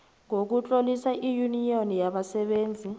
sokutlolisa iyuniyoni yabasebenzi